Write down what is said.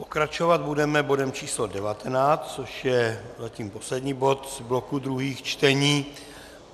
Pokračovat budeme bodem číslo 19, což je zatím poslední bod z bloku druhých čtení.